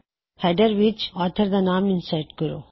header ਵਿੱਚ ਨਿਰਮਾਤਾ ਦਾ ਨਾਮ ਇਨਸਰਟ ਕਰੋ